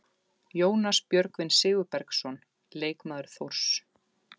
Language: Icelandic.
Jónas Björgvin Sigurbergsson, leikmaður Þórs.